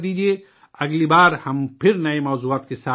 اگلی بار ہم پھر نئے موضوعات پر ساتھ ملیں گے